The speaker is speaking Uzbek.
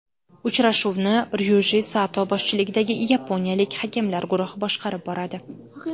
Uchrashuvni Ryuji Sato boshchiligidagi yaponiyalik hakamlar guruhi boshqarib boradi.